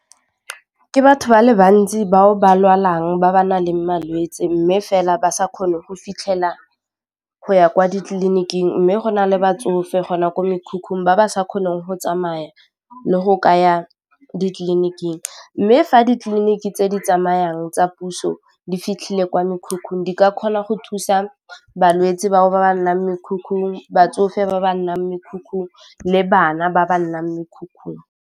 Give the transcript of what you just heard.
Ke batho ba le bantsi bao ba lwalang ba ba naleng malwetse mme fela ba sa kgone go fitlhela go ya kwa ditleliniking, mme go na le batsofe gona kwa mekhukhung ba ba sa kgoneng go tsamaya le go kaya ditleliniking, mme fa ditleliniki tse di tsamayang tsa puso di fitlhile kwa mekhukhung di ka kgona go thusa balwetsi batho ba ba nnang mekhukhung, batsofe ba ba nnang mekhukhung le bana ba ba nnang mekhukhung.